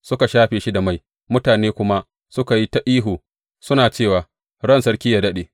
Suka shafe shi da mai, mutane kuma suka yi ta tafi suka ihu, suna cewa, Ran sarki yă daɗe.